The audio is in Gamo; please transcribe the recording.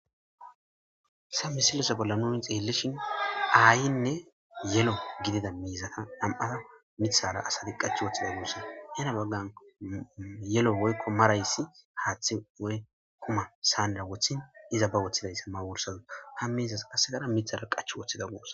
Sa misilese bolla nu hin xeellishin aayinne yelo gidida miizata dam7ata mithara asadi qach woththida yuussa yana baggan yelo woykko marayssi haaththi woy kuma saaanera wothin iza ba woththidayssa ma worsaza ha miizas assegara mithara qach woththida guos